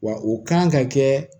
Wa u kan ka kɛ